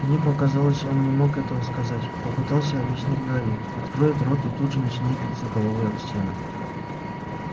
мне показалось он не мог этого сказать попытался объяснить гарри откроет рот и тут же начинает биться головой об стену